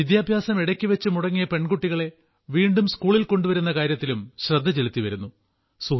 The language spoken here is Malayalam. വിദ്യാഭ്യാസം ഇടയ്ക്കുവെച്ച് മുടങ്ങിയ പെൺകുട്ടികളെ വീണ്ടും സ്കൂളിൽ കൊണ്ടുവരുന്ന കാര്യത്തിലും ശ്രദ്ധചെലുത്തി വരുന്നു